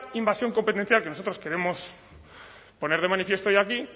invasión competencial que nosotros queremos poner de manifiesto hoy aquí